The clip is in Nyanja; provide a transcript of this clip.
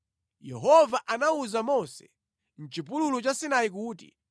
Yehova anawuza Mose mʼchipululu cha Sinai kuti,